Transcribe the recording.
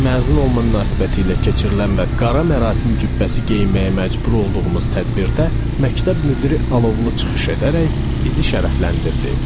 Məzun olma münasibətilə keçirilən və qara mərasim cübbəsi geyinməyə məcbur olduğumuz tədbirdə məktəb müdiri alovlu çıxış edərək bizi şərəfləndirdi.